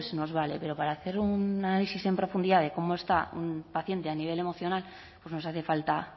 nos vale pero para hacer un análisis en profundidad de cómo está un paciente a nivel emocional nos hace falta